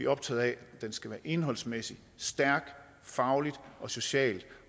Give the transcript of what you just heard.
optaget af at den skal være indholdsmæssigt stærk fagligt og socialt